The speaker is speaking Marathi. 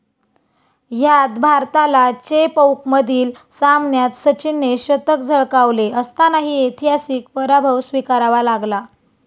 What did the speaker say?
ह्यात भारताला चेपौकमधील सामन्यात सचिनने शतक झळकावले असतानाही ऐतिहासिक पराभव स्वीकारावा लागला.